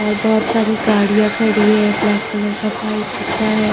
और बहुत सारी गड़िया खड़ी है ब्लैक कलर का पाइप दिख रहा है।